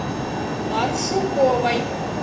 паршуковой